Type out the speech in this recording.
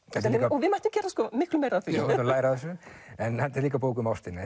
og við mættum gera miklu meira af því já læra af þessu en þetta er líka bók um ástina